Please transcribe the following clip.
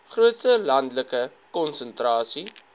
grootste landelike konsentrasie